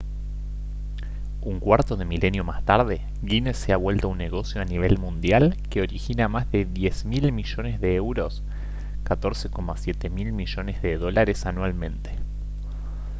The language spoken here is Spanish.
un cuarto de milenio más tarde guinness se ha vuelto un negocio a nivel mundial que origina más de 10 mil millones de euros 14,7 mil millones de dólares anualmente